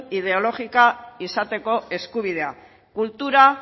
ideologikoa izateko eskubidea kultura